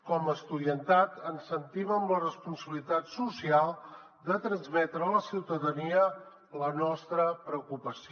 com a estudiantat ens sentim amb la responsabilitat social de transmetre a la ciutadania la nostra preocupació